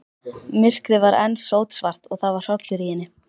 Myrkrið var enn sótsvart og það var hrollur í henni.